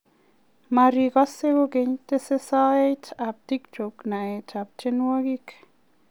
Marigose kokeny, tese soet ab tiktok naet ab tienwogik?